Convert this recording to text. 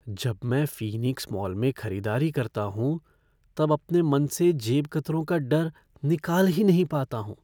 जब मैं Phoenix mall में खरीदारी करता हूँ तब अपने मन से जेबकतरों का डर निकाल ही नहीं पाता हूँ।